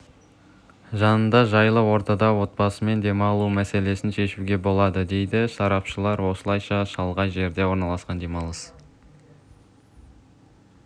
жанында жайлы ортада отбасымен демалу мәселесін шешуге болады дейді сарапшылар осылайша шалғай жерде орналасқан демалыс